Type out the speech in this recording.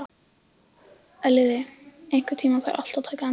Elliði, einhvern tímann þarf allt að taka enda.